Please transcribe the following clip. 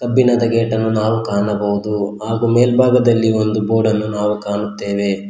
ಕಬ್ಬಿಣದ ಗೇಟ್ ಅನ್ನು ನಾವು ಕಾಣಬಹುದು ಹಾಗೂ ಮೇಲ್ಭಾಗದಲ್ಲಿ ಒಂದು ಬೋರ್ಡ್ ಅನ್ನು ನಾವು ಕಾಣುತ್ತೇವೆ.